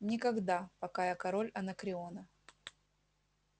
никогда пока я король анакреона